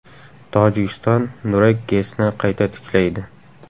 Tojikiston Nurek GESni qayta tiklaydi.